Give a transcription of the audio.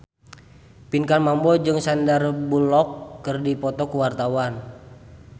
Pinkan Mambo jeung Sandar Bullock keur dipoto ku wartawan